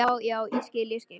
Já, já, ég skil, ég skil.